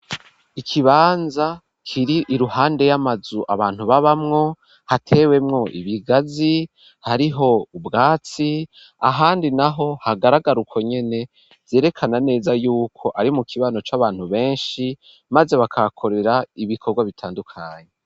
Ikibanza kiri iruhande y'amazu abantu babamwo hatewemwo ibigazi hariho ubwatsi ahandi naho hagaragara ukwo nyene vyerekana neza yuko ari mu kibano c'abantu benshi maze bakakorera ibikorwa bitandukanye.